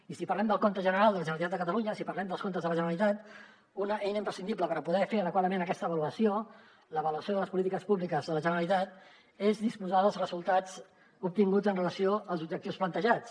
i si parlem del compte general de la generalitat de catalunya si parlem dels comptes de la generalitat una eina imprescindible per poder fer adequadament aquesta avaluació l’avaluació de les polítiques públiques de la generalitat és disposar dels resultats obtinguts en relació amb els objectius plantejats